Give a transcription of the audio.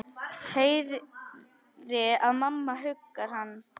Heyri að mamma huggar hann.